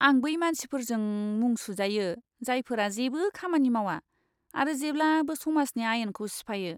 आं बै मानसिफोरजों मुं सुजायो, जायफोरा जेबो खामानि मावा आरो जेब्लाबो समाजनि आयेनखौ सिफायो।